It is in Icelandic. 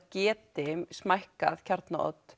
geti smækkað